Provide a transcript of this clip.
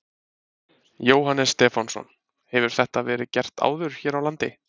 Jóhannes Stefánsson: Hefur þetta verið gert áður hér á landi?